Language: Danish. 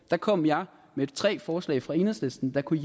der kom jeg med tre forslag fra enhedslisten der kunne